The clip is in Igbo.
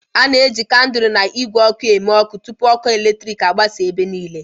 A na-eji kandụl na igwe oku eme ọkụ tupu ọkụ eletrik agbasa ebe niile.